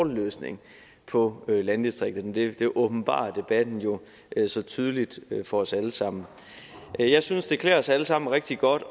løsning på landdistrikterne det åbenbarer debatten jo så tydeligt for os alle sammen jeg synes også det klæder os alle sammen rigtig godt